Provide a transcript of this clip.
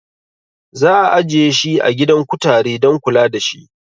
Za'a ajiye shi a gidan kutare dan kula dashi